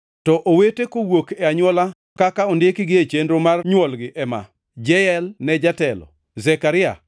To owete kowuok e anywola, kaka ondikgi e chenro mar nywolgi ema: Jeyel ne jatelo, Zekaria,